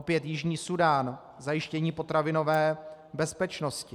Opět Jižní Súdán, zajištění potravinové bezpečnosti.